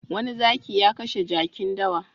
Wani zaki ya kashe jakin dawa.